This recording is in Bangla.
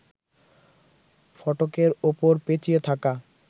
ফটকের ওপর পেঁচিয়ে থাকা